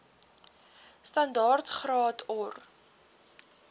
standaard graad or